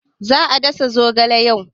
Za a dasa zogale yau.